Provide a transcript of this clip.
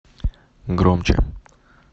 громче